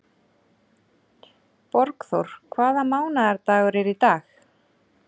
Borgþór, hvaða mánaðardagur er í dag?